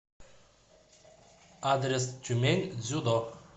адрес тюмень дзюдо